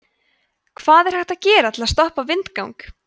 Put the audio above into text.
hvað er hægt að gera til að stoppa vindgang